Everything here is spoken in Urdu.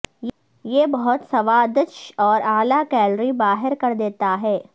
یہ بہت سوادج اور اعلی کیلوری باہر کر دیتا ہے